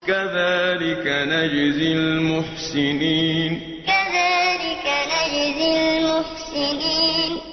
كَذَٰلِكَ نَجْزِي الْمُحْسِنِينَ كَذَٰلِكَ نَجْزِي الْمُحْسِنِينَ